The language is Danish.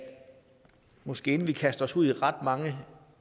måske kaster os ud i ret mange